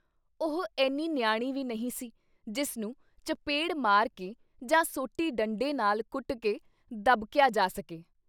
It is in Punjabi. ਉਹ ਐਨੀ ਨਿਆਣੀ ਵੀ ਨਹੀਂ ਸੀ ਜਿਸਨੂੰ ਚਪੇੜ ਮਾਰ ਕੇ ਜਾਂ ਸੋਟੀ ਡੰਡੇ ਨਾਲ ਕੁੱਟ ਕੇ ਦਬਕਿਆ ਜਾ ਸਕੇ।